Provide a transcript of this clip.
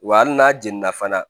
Wa hali n'a jiginna fana